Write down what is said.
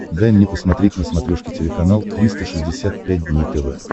дай мне посмотреть на смотрешке телеканал триста шестьдесят пять дней тв